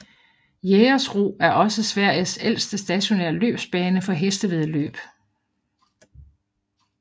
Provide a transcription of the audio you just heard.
Jägersro er også Sveriges ældste stationære løbsbane for hestevæddeløb